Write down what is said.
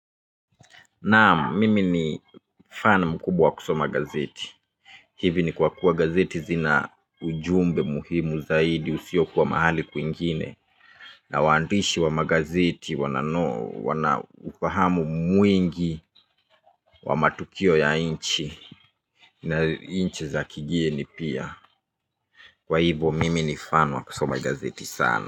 Naamu mimi ni fan mkubwa wa kusoma gazeti. Hivi ni kwa kuwa gazeti zina ujumbe muhimu zaidi usio kuwa mahali kwingine na waandishi wa magazeti wana ufahamu mwingi wa matukio ya nchi na nchi za kigeni pia, kwa hivyo mimi ni fan wa kusoma gazeti sana.